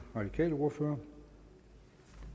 radikale ordfører